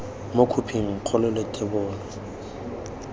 mo khophing kgolo le thebolo